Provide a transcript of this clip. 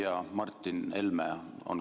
Härra Ratas!